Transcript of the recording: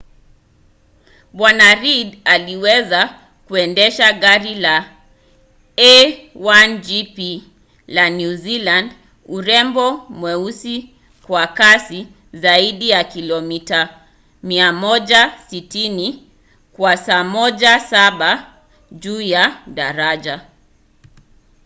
bw. reid aliweza kuendesha gari la a1gp la new zealand urembo mweusi kwa kasi zaidi ya kilomita 160 kwa saa mara saba juu ya daraja